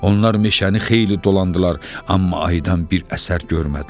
Onlar meşəni xeyli dolandılar, amma aydan bir əsər görmədilər.